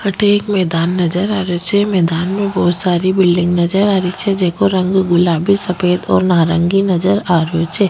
अठे एक मैदान नजर आ रेहो छे मैदान में बहुत सारी बिल्डिंग नजर आ री छे जेको रंग गुलाबी सफ़ेद और नारंगी नजर आ रेहो छे।